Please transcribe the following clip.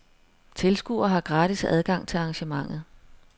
Tilskuere har gratis adgang til arrangementet.